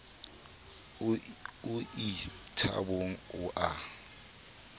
o ie thabong o a